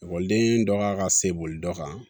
Ekɔliden dɔ ka se boli dɔ kan